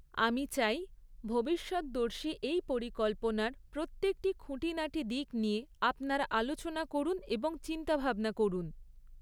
আমি চাই, ভবিষ্যৎদর্শী এই পরিকল্পনার প্রত্যেকটি খুঁটিনাটি দিক নিয়ে আপনারা আলোচনা করুন এবং চিন্তাভাবনা করুন।